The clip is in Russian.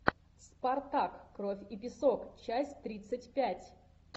спартак кровь и песок часть тридцать пять